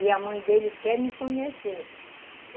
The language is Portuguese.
E a mãe dele quer me conhecer.